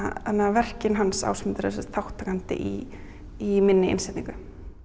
verkin hans Ásmundar eru eru sem sagt þátttakandi í í minni innsetningu